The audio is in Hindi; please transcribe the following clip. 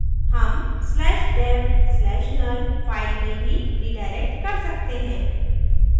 हम slash dev slash null /dev/null file में भी redirect कर सकते हैं